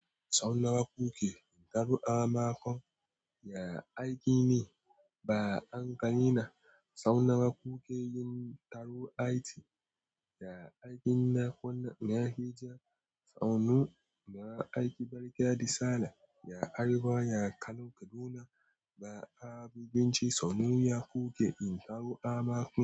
Saunawa kuke in taru ama kon ya aiki ne, ba an ka ina sauna kuke yin taro ai ci. Ya aikin na kwana, ya heja. Sannu ya aiki barka da sallah ya arewa, ya Kano, Kaduna ba abin ci saunu ya kuke in taru ama kon.